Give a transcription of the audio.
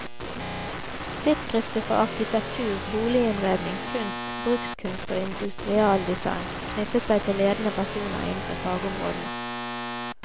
Tidsskriftet for arkitektur, boliginnredning, kunst, brukskunst og industrial design knyttet til seg ledende personer innenfor fagområdene.